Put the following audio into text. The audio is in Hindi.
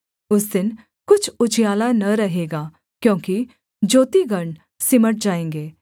उस दिन कुछ उजियाला न रहेगा क्योंकि ज्योतिगण सिमट जाएँगे